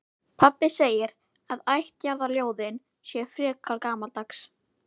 Pabbi segir að ættjarðarljóðin séu frekar gamaldags.